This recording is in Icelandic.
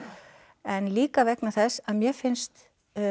en líka vegna þess að mér finnst